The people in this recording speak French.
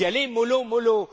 entendu vous y allez mollo